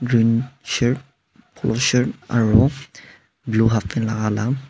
green shirt polo shirt aro blue halfpant laka laga.